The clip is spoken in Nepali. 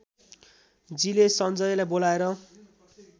जीले सञ्जयलाई बोलाएर